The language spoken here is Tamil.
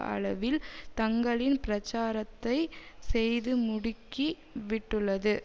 அளவில் தங்களின் பிரச்சாரத்தை செய்து முடுக்கி விட்டுள்ளது